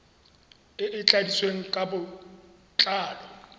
e e tladitsweng ka botlalo